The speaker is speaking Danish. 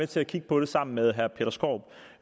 til at kigge på det sammen med herre peter skaarup